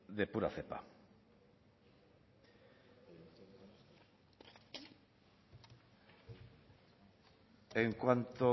de pura cepa en cuanto